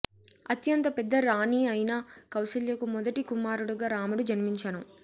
అత్యంత పెద్ద రాణి అయిన కౌసల్యకు మొదటి కుమారుడుగా రాముడు జన్మించెను